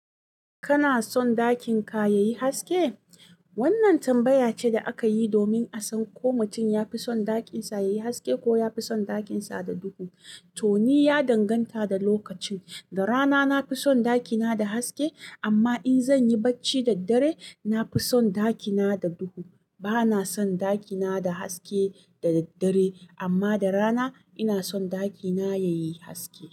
Kana son ɗakin ka yayi haske? Wannan tambaya ce da aka yi domin a san ko mutum ya fi son ɗakin sa yayi haske ko ya fi son ɗakin sa da duhu. To, ni ya danganta da lokacin. Da rana na fi son ɗaki na da haske amma in zan yi barci da daddare, na fi son ɗaki na da duhu. Bana son ɗaki na da haske da daddare amma da rana ina son ɗaki na yayi haske.